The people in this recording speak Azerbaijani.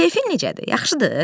Keyfin necədir, yaxşıdır?